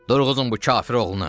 Durğuzun bu kafir oğlunu!